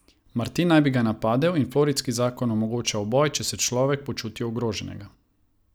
Martin naj bi ga napadel in floridski zakon omogoča uboj, če se človek počuti ogroženega.